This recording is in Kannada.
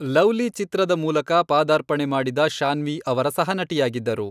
ಲವ್ಲಿ ಚಿತ್ರದ ಮೂಲಕ ಪಾದಾರ್ಪಣೆ ಮಾಡಿದ ಶಾನ್ವಿ ಅವರ ಸಹನಟಿಯಾಗಿದ್ದರು.